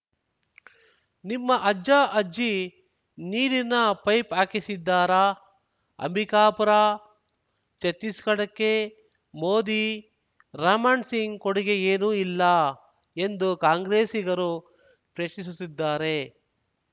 ನಿಮ್ಮ ಅಜ್ಜಅಜ್ಜಿ ನೀರಿನ ಪೈಪ್‌ ಹಾಕಿಸಿದ್ದಾರಾ ಅಂಬಿಕಾಪುರ ಛತ್ತೀಸ್‌ಗಢಕ್ಕೆ ಮೋದಿರಮಣ್‌ ಸಿಂಗ್‌ ಕೊಡುಗೆ ಏನೂ ಇಲ್ಲ ಎಂದು ಕಾಂಗ್ರೆಸ್ಸಿಗರು ಪ್ರಶ್ನಿಸುತ್ತಿದ್ದಾರೆ